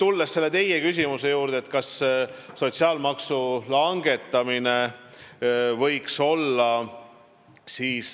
Tulen nüüd selle teie küsimuse juurde, mis oli sotsiaalmaksu langetamise kohta.